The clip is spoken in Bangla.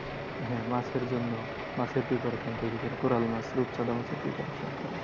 হ্যাঁ মাছের জন্য মাছের preparation তৈরী করে কোরাল মাছ রূপচাঁদা মাছের preparation করে।